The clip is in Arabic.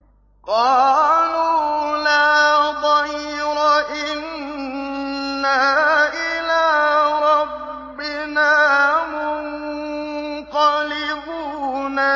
قَالُوا لَا ضَيْرَ ۖ إِنَّا إِلَىٰ رَبِّنَا مُنقَلِبُونَ